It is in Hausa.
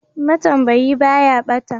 Ma tambayi ɓaya bata.